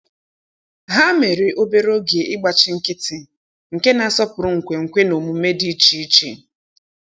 Há mèrè obere oge ịgbachi nkịtị nke nà-àsọ́pụ́rụ́ nkwenkwe na omume dị́ iche iche.